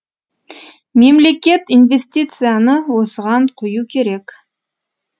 мемлекет инвестицияны осыған құю керек